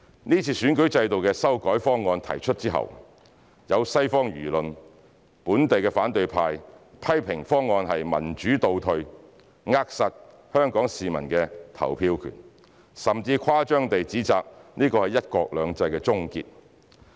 這次選舉制度的修改方案提出之後，西方輿論、本地反對派批評方案是民主倒退、扼殺香港市民的投票權，甚至更誇張地指摘這是"一國兩制"的終結。